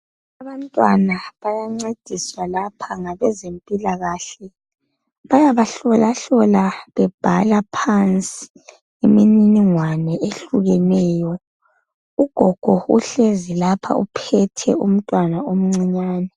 Abantwana bayancediswa lapha ngabezempilakahle. Bayabahlola hlola bebhala phansi imininingwane ehlukeneyo. Ugogo uhlezi lapha uphethe umntwana omncinyane.